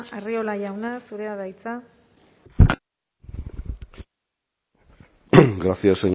arriola jauna zurea da hitza